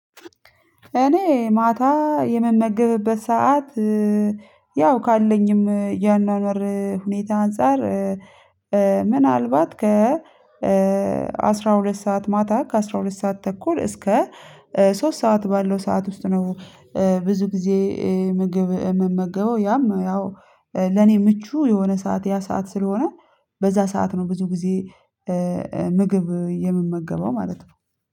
እኔ ማታ የምመገብበት ሰዓት ያው ካለኝም የአኗኗር ሁኔታ አንፃር ምናልባት ከ አስራ ሁለት ሰዓት ማታ ከአስራ ሁለት ሰዓት ተኩል እስከ ሶስት ሰዓት ባለው ሰዓት ውስጥ ነው። ብዙ ጊዜ ምግብ የምመገበው ያም ያው ለኔ ምቹ የሆነ ሰዓት ያ ሰዓት ስለሆነ በዛ ሰዓት ነው ብዙ ጊዜ ምግብ የምመገበው ማለት ነው